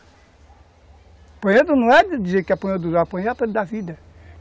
Apanhando não é dizer que apanhou dos, apanhou da vida.